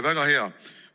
Väga hea!